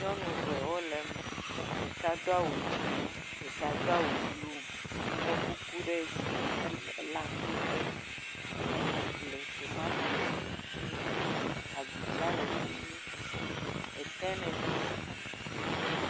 Nyɔnu ve wole me, ɖeka do awu dzee, ɖeka do awu blu, tsɔ kuku ɖe dzi, lé akpete, ele nu ƒlem